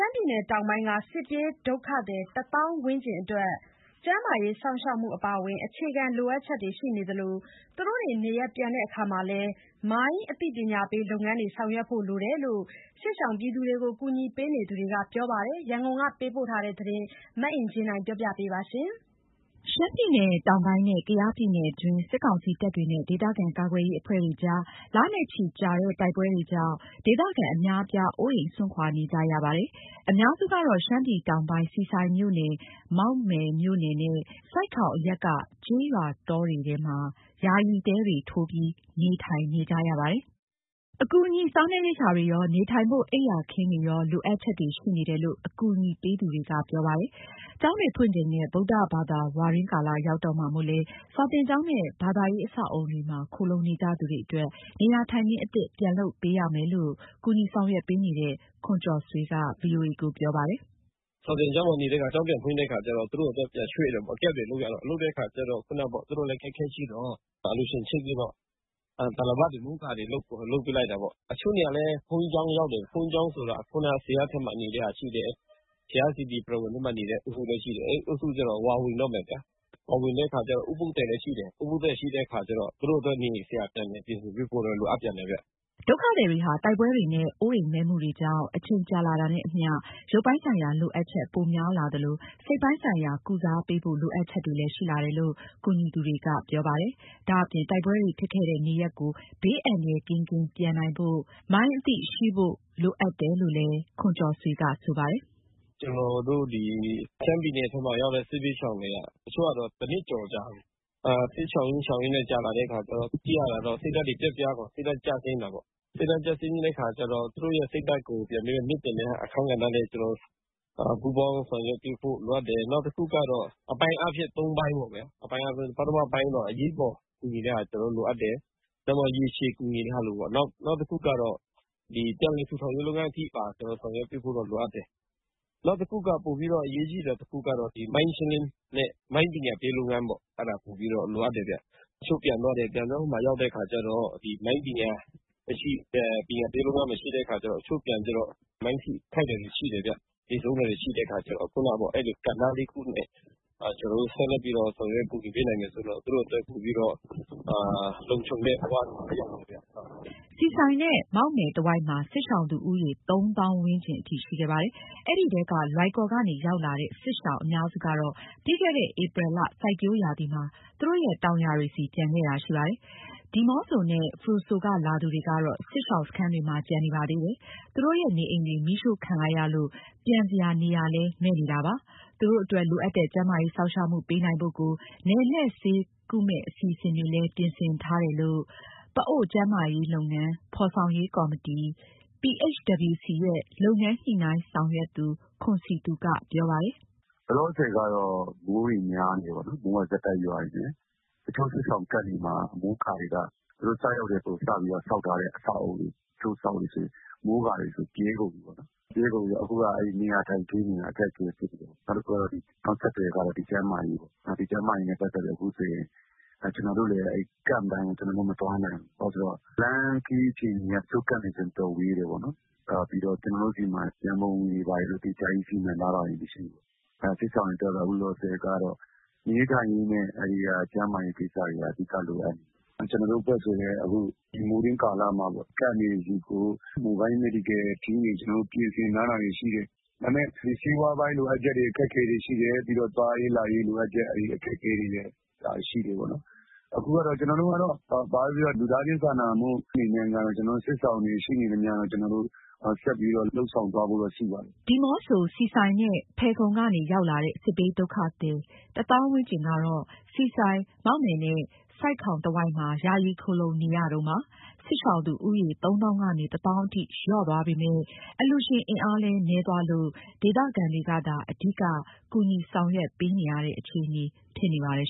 မ်းပြည်တောင်ပိုင်းက စစ်ပြေးဒုက္ခသည် တသောင်းဝန်းကျင်အတွက် ကျန်းမာရေးစောင့်ရှောက်မှုအပါအဝင် အခြေခံလိုအပ်ချက်တွေ ရှိနေသလို သူတို့တွေ နေရပ်ပြန်နိုင်ဖို့ရာ မိုင်းအသိပညာပေးလုပ်ငန်းတွေ ဆောင်ရွက်ဖို့လိုတယ်လို့ ကူညီရေးသမားတွေကပြောပါတယ်။ ရန်ကုန်က ပေးပို့တဲ့သတင်း မအင်ကြင်းနိုင်ပြောပြမှာပါ။ ရှမ်းပြည်နယ်တောင်ပိုင်းနဲ့ ကယားပြည်နယ်အတွင်း စစ်ကောင်စီတပ်တွေနဲ့ ဒေသခံကာကွယ်ရေးအဖွဲ့တွေအကြား လနဲ့ချီကြာတဲ့ တိုက်ပွဲတွေကြောင့် ဒေသခံအများအပြား အိုးအိမ်စွန့်ခွာနေကြရတာပါ။ အများစုကတော့ ရှမ်းပြည်တောင်ပိုင်း ဆီဆိုင်မြို့နယ်၊ မောက်မယ်မြို့နယ်နဲ့ ဆိုက်ခေါင်အရပ်က ကျေးရွာတောထဲ ယာယီတဲတွေ ထိုးပြီး နေထိုင်ကြရပါတယ်။ အကူအညီ စားနပ်ရိက္ခာတွေရော၊ နေထိုင်ဖို့ အိပ်ယာခင်းတွေရော လိုအပ်ချက်တွေရှိနေတယ်လို့ အကူအညီပေးသူတွေက ပြောပါတယ်။ ကျောင်းတွေဖွင့်ချိန်နဲ့ ဗုဒ္ဓဘာသာဝါတွင်းကာလရောက်တော့မှာမို့လည်း စာသင်ကျောင်းနဲ့ ဘာသာရေးအဆောက်အအုံတွေမှာ ခိုလှုံနေကြသူတွေအတွက် နေရာထိုင်ခင်းအသစ် ပြန်လုပ်ပေးရမယ်လို့ ကူညီဆောင်ရွက်ပေးနေတဲ့ ခွန်ကျော်ဆွေက ပြောပါတယ်။ "စာသင်ကျောင်းမှာ နေတဲ့သူတွေက ကျောင်းပြန်ဖွင့်တဲ့အခါကျတော့ သူတို့တွေပြန်ရွှေ့ရတာပေါ့။ Camp တွေလုပ်ရတဲ့အခါကျတော့ သူတို့လည်းအခက်အခဲရှိတော့ အလှူရှင်ချိတ်ပြီးတော့ တာလပတ်တွေ၊ မိုးကာတွေ လုပ်ပေးလိုက်တာပေါ့။ တချို့တွေကလည်း ဘုန်းကြီးကျောင်းရောက်တယ်။ ဘုန်းကြီးကျောင်းဆိုတာ ဇရပ်ထဲမှာနေတာရှိတယ်၊ ဘုရားပရဝဏ်အတွင်းမှာ နေတဲ့အုပ်စုလည်းရှိတယ်။ အဲဒီအုပ်စုကျတော့ ဝါဝင်တော့မယ်ဗျ။ ဝါဝင်တဲ့အခါကျတော့ ဥပုသ်သည်လည်းရှိတယ်။ ဥပုသ်သည်ရှိတော့ သူတို့အတွက်နေစရာ ပြန်လုပ်ပေးဖို့တော့ လိုအပ်တယ်ဗျ။" ဒုက္ခသည်တွေဟာ တိုက်ပွဲတွေနဲ့ အိုးအိမ်မဲ့မှုတွေကြောင့် အချိန်ကြာလာတာနဲ့အမျှ ရုပ်ပိုင်းဆိုင်ရာလိုအပ်ချက်ပိုများလာသလို စိတ်ပိုင်းဆိုင်ရာ ကုစားပေးဖို့ လိုအပ်ချက်တွေလည်းရှိလာတယ်လို့ ကူညီသူတွေကပြောပါတယ်။ ဒါ့အပြင့် တိုက်ပွဲတွေဖြစ်ခဲ့တဲ့နေရပ်ကို ဘေးအန္တရာယ်ကင်းကင်းပြန်နိုင်ဖို့ မိုင်းအသိရှိဖို့လည်း လိုအပ်တယ်လို့ ပြောပါတယ်။ "ကျနော်တို့ ဒီရှမ်းပြည်နယ်ထဲရောက်နေတဲ့ စစ်ဘေးရှောင်တွေက တချို့ကတော့ တနှစ်ကျော်ကြာပြီ။ စစ်ရှောင်ရင်း ရှောင်ရင်း ကြာလာတဲ့အခါကျတော့ ကြည့်ရတာ စိတ်ဓာတ်တွေကျဆင်းတာပေါ့။ သူတို့ရဲ့စိတ်ဓာတ်ကို ပြန်မြှင့်တင်ပေးတဲ့ အခန်းကဏ္ဍလည်း ကျနော်တို့ပူးပေါင်းဆောင်ရွက်ပေးဖို့ လိုအပ်တယ်။ နောက်တခုကတော့ အပိုင်းအားဖြင့် ၃ ပိုင်းပေါ့ဗျာ။ ပထမပိုင်းကတော့ အရေးပေါ်ကူညီတဲ့ဟာ လိုအပ်တယ်၊ ရေရှည်ကူညီတဲ့ဟာ လိုတယ်ပေါ့။ နောက်တခုက ပြန်လည်ထူထောင်ရေးအထိပါ ဆောင်ရွက်ဖို့လိုအပ်တယ်။ ပိုပြီးတော့အရေးကြီးတာ တခုကတော့ မိုင်းရှင်းလင်းတဲ့ မိုင်းပညာပေးလုပ်ငန်းပေါ့၊ အဲဒါပိုပြီးတော့ လိုအပ်တယ်ဗျ။ တချို့ပြန်သွားပြီး ဟိုရောက်တဲ့အခါကျတော့ မိုင်းထိခိုက်တာတွေရှိတယ်ဗျ။ သေဆုံးတဲ့ဟာတွေ ရှိတဲ့အခါကျတော့ အဲလို ကဏ္ဍတွေနဲ့ ကျနော်တို့ ဆက်လက်ပြီးတော့ ဆောင်ရွက်ကူညီပေးနိုင်မယ်ဆိုရင်တော့ သူတို့အတွက်ပိုပြီးတော့ လုံခြုံတဲ့ဘဝကိုရမယ်ဗျ။" ဆီဆိုင်နဲ့ မောက်မယ်တဝိုက်မှာ စစ်ရှောင်သူဦးရေ ၃ သောင်းဝန်းကျင်အထိ ရှိခဲ့ပါတယ်။ အဲဒီထဲက လွိုင်ကော်ကနေရောက်လာတဲ့ စစ်ရှောင်အများစုကတော့ ပြီးခဲ့တဲ့ ဧပြီလ စိုက်ပျိုးရာသီမှာ သူတို့ရဲ့ တောင်ယာတွေဆီ ပြန်ခဲ့တာရှိပါတယ်။ ဒီးမော့ဆိုနဲ့ ဖရူဆိုက လာသူတွေကတော့ စစ်ရှောင်စခန်းတွေမှာ ကျန်နေပါသေးတယ်။ သူတို့ရဲ့နေအိမ်တွေ မီးရှို့ခံလိုက်ရလို့ ပြန်စရာ နေရာလည်းမဲ့နေပါတယ်။ သူတို့အတွက်လိုအပ်တဲ့ ကျန်းမာရေးစောင့်ရှောက်မှုပေးနိုင်ဖို့ကို နယ်လှည့်ဆေးကုမယ့်အစီအစဉ်တွေလည်း ပြင်ဆင်ထားတယ်လို့ ပအိုဝ်းကျန်းမာရေးလုပ်ငန်း ဖော်ဆောင်ရေးကော်မတီ PHWC ရဲ့ လုပ်ငန်းညှိနှိုင်းဆောင်ရွက်သူ ခွန်စည်သူက ပြောပါတယ်။ "လောလောဆယ်ကတော့ မိုးများနေတယ်၊ မိုးကဆက်တိုက်ရွာနေတယ်။ တချို့စစ်ရှောင် camp တွေမှာ အမိုးအကာတွေက သူတို့စရောက်ကတည်းက စဆောက်ထားတာဆိုတော့ တချို့ဆိုရင် မိုးကာတွေက ပြဲကုန်ပြီပေါ့နော်။ ပြဲကုန်တော့ အခုကနေရာထိုင်ခင်းတွေက အခက်အခဲဖြစ်နေတယ်။ နောက်ဆက်တွဲကတော့ ကျန်းမာရေးပေါ့။ ကျန်းမာရေးနဲ့ပတ်သက်လို့ အခုဆိုရင် ကျနော်တို့လည်း camp တိုင်းကို မသွားနိုင်ဘူး။ ဘာလို့လဲဆိုတော့ လမ်းခရီးအခြေအနေက တချို့ camp တွေဆို တော်တော်ဝေးတယ်ပေါ့နော်။ ကျနော်တို့ဆီမှာ ရံပုံငွေတွေ ဘာတွေဆိုပြီးတော့ သီးခြားစီမံထားတာတွေလည်း မရှိဘူး။ စစ်ရှောင်တွေအတွက် အခုလောလောဆယ်ကတော့ နေရေးထိုင်ရေးနဲ့ ကျန်းမာရေးကိစ္စတွေက အဓိကလိုအပ်နေတယ်။ ကျနော်တို့အဖွဲ့ဆိုရင်လည်း အခုမိုးတွင်းကာလမှာ camp တွေဆီကို Mobile Medical Team တွေ ကျနော်တို့ ပြင်ဆင်ထားတာရှိတယ်။ ဒါပေမဲ့ ဒီဆေးဝါးပိုင်းလိုအပ်ချက် အခက်အခဲတွေရှိတယ်။ ပြီးတော့ သွားရေးလာရေးလိုအပ်ချက် အခက်အခဲတွေလည်း ရှိတာပေါ့နော်။ အခုကတော့ ကျနော်တို့ကတော့ ဘာပဲပြောပြော လူသားချင်းစာနာမှုအနေနဲ့ကတော့ စစ်ရှောင်တွေရှိနေသမျှကတော့ ကျနော်တို့ဆက်ပြီးတော့ လုပ်ဆောင်သွားဖို့ရှိပါတယ်။" ဒီးမော့ဆို၊ ဆီဆိုင်နဲ့ ဖယ်ခုံကနေ ရောက်လာတဲ့ စစ်ဘေးဒုက္ခသည် ၁ သောင်းဝန်းကျင်ကတော့ ဆီဆိုင်၊ မောက်မယ်နဲ့ ဆိုက်ခေါင်တဝိုက်မှာ ယာယီခိုလှုံနေရတုန်းပါ။ စစ်ရှောင်သူဦးရေ ၃ သောင်းကနေ ၁ သောင်းအထိ လျော့သွားပေမယ့် အလှူရှင်အင်အားလည်း နည်းသွားလို့ ဒေသခံတွေကသာ အဓိက ကူညီဆောင်ရွက်ပေးနေရတဲ့ အခြေအနေဖြစ်နေပါတယ်